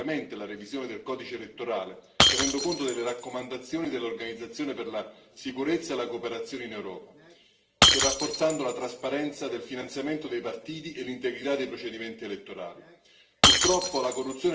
L'Albania deve completare rapidamente la revisione del codice elettorale, tenendo conto delle raccomandazioni dell'Organizzazione per la sicurezza e la cooperazione in Europa e rafforzando la trasparenza del finanziamento dei partiti e l'integrità dei procedimenti elettorali.